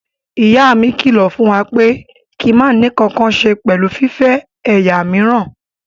Ìyá mi kílọ̀ fún wa pé kí a máa ní ǹkankan ṣe pẹ̀lú fífẹ́ ẹ̀yà míìràn.